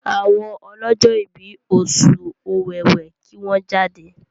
àwọn ọlọjọ ibí Oṣù Ọ̀wẹwẹ kí wón jáde!